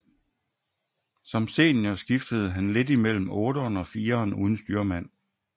Som senior skiftede han lidt mellem otteren og fireren uden styrmand